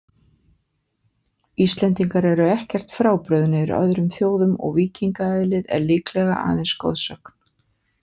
Íslendingar eru ekkert frábrugðnir öðrum þjóðum og víkingaeðlið er líklega aðeins goðsögn.